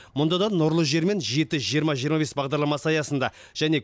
мұнда да нұрлы жер мен жеті жиырма жиырма бес бағдарламасы аясында және